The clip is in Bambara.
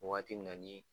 Wagati min na ni